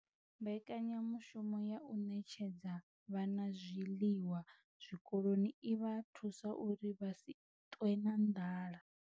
Mbekanyamushumo ya u ṋetshedza vhana zwiḽiwa zwikoloni i vha thusa uri vha si ṱwe na nḓala